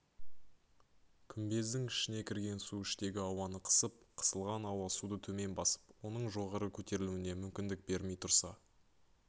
күмбездің ішіне кірген су іштегі ауаны қысып қысылған ауа суды төмен басып оның жоғары көтерілуіне мүмкіндік бермей тұрса